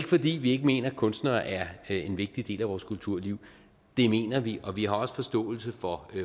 fordi vi ikke mener at kunstnere er en vigtig del af vores kulturliv det mener vi og vi har også forståelse for